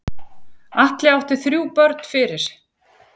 Atli átti þrjú börn fyrir.